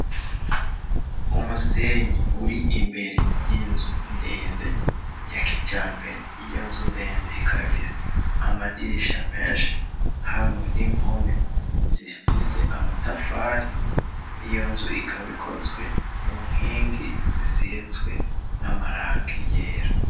Umusenyi uri imbere yinzu ndende ya kijambere, iyo nzu ndende ikaba ifise amadirisha menshi hamwe n'impome zifise amatafari, iyo nzu ikaba ikozwe mu nkingi zisizwe n'amarangi yera.